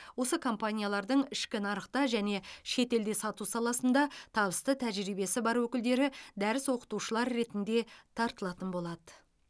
осы компаниялардың ішкі нарықта және шетелде сату саласында табысты тәжірибесі бар өкілдері дәріс оқытушылар ретінде тартылатын болады